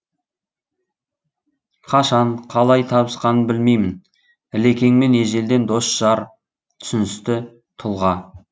қашан қалай табысқанын білмеймін ілекеңмен ежелден дос жар түсіністі тұлға